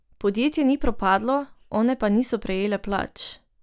Podjetje ni propadlo, one pa niso prejele plač.